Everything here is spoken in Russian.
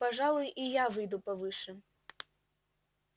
пожалуй и я выйду повыше